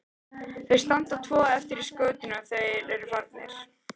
Þau standa tvö eftir í skotinu þegar þeir eru farnir.